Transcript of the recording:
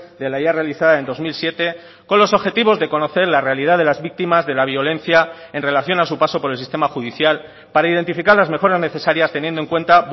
de la ya realizada en dos mil siete con los objetivos de conocer la realidad de las víctimas de la violencia en relación a su paso por el sistema judicial para identificar las mejoras necesarias teniendo en cuenta